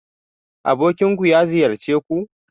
Abokinku ya ziyarce ku?